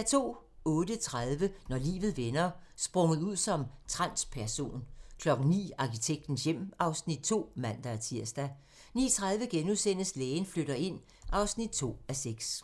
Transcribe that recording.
08:30: Når livet vender: Sprunget ud som transperson 09:00: Arkitektens hjem (Afs. 2)(man-tir) 09:30: Lægen flytter ind (2:6)*